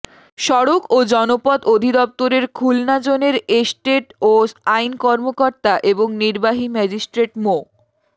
সড়ক ও জনপথ অধিদপ্তরের খুলনা জোনের এস্টেট ও আইন কর্মকর্তা এবং নির্বাহী ম্যাজিস্ট্রেট মো